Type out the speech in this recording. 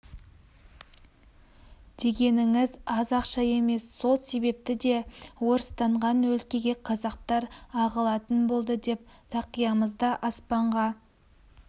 дегеніңіз аз ақша емес сол себепті де орыстанған өлкеге қазақтар ағылатын болды деп тақиямызды аспанға